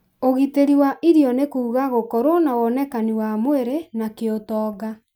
ũgitĩri wa irio nĩ kuuga gũkorũo na wonekani wa mwĩrĩ na kĩũtonga